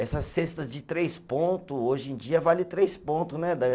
Essas cestas de três ponto, hoje em dia vale três pontos, né?